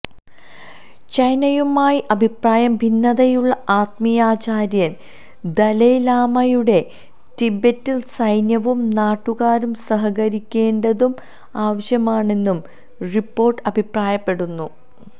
ചൈനയുമായി അഭിപ്രായ ഭിന്നതയുള്ള ആത്മീയാചാര്യൻ ദലൈ ലാമയുടെ ടിബറ്റിൽ സൈന്യവും നാട്ടുകാരും സഹകരിക്കേണ്ടതു ആവശ്യമാണെന്നും റിപ്പോർട്ട് അഭിപ്രായപ്പെടുന്നു